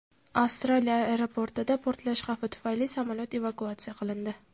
Avstraliya aeroportida portlash xavfi tufayli samolyot evakuatsiya qilindi.